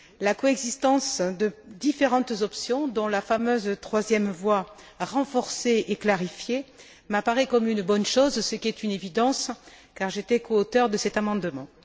La coexistence de différentes options, dont la fameuse troisième voie, renforcée et clarifiée, m'apparaît comme une bonne chose, ce qui est une évidence car j'étais coauteure de cet amendement.